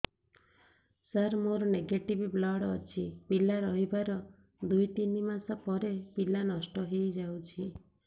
ସାର ମୋର negative blood ଅଛି ପିଲା ରହିବାର ଦୁଇ ତିନି ମାସ ପରେ ପିଲା ନଷ୍ଟ ହେଇ ଯାଉଛି